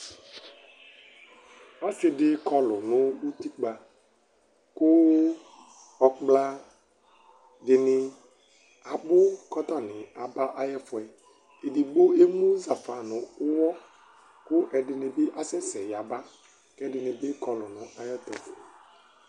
ɔse di kɔlu no utikpa kò ɔkpla dini abu kò atani aba ay'ɛfoɛ edigbo ɛmu zafa no uwɔ kò ɛdini bi asɛ sɛ yaba k'ɛdini bi kɔlu n'ayɛto